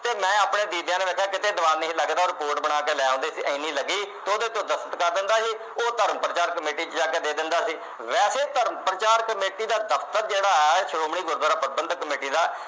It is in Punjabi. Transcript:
ਤੇ ਮੈਂ ਆਪਣੇ ਦੀਦਿਆਂ ਨਾਲ ਵੇਖਿਆ ਕਿਤੇ ਦੀਵਾਨ ਨਹੀਂ ਲੱਗਦੇ ਉਹ report ਬਣਾ ਕੇ ਲੈ ਆਉਦੇ ਸੀ ਇੰਨੀ ਲੱਗੀ ਤੇ ਉਹਦੇ ਤੇ ਉਹ ਦਸਤਖਤ ਕਰ ਦਿੰਦਾ ਸੀ ਉਹ ਧਰਮ ਪ੍ਰਚਾਰ ਕਮੇਟੀ ਵਿਚ ਜਾ ਕੇ ਦੇ ਦਿੰਦਾ ਸੀ ਵੈਸੇ ਧਰਮ ਪ੍ਰਚਾਰ ਕਮੇਟੀ ਦਾ ਦਫਤਰ ਜਿਹੜਾ ਆ ਸ਼੍ਰੋਮਣੀ ਗੁਰਦੁਆਰਾ ਪ੍ਰਬੰਧਕ ਕਮੇਟੀ ਦਾ